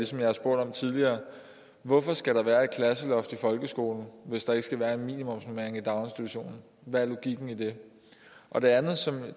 som jeg har spurgt om tidligere hvorfor skal der være et klasseloft i folkeskolen hvis der ikke skal være en minimumsbemanding i daginstitutionen hvad er logikken i det og det andet som